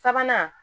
Sabanan